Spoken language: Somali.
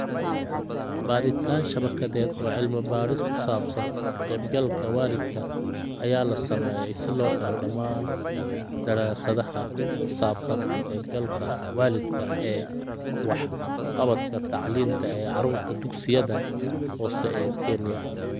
Baadhitaan shabakadeed oo cilmi-baadhis ku saabsan ka-qaybgalka waalidka ayaa la sameeyay si loo helo dhammaan daraasadaha ku saabsan ka-qaybgalka waalidka ee waxqabadka tacliinta ee carruurta dugsiyada hoose ee Kenya.